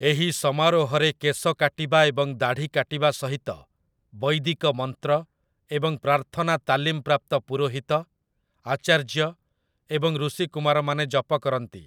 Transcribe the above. ଏହି ସମାରୋହରେ କେଶ କାଟିବା ଏବଂ ଦାଢ଼ି କାଟିବା ସହିତ ବୈଦିକ ମନ୍ତ୍ର ଏବଂ ପ୍ରାର୍ଥନା ତାଲିମପ୍ରାପ୍ତ ପୁରୋହିତ, ଆଚାର୍ଯ୍ୟ ଏବଂ ଋଷିକୁମାରମାନେ ଜପ କରନ୍ତି ।